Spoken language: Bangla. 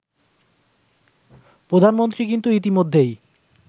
প্রধানমন্ত্রী কিন্তু ইতিমধ্যেই